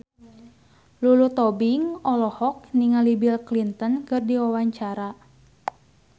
Lulu Tobing olohok ningali Bill Clinton keur diwawancara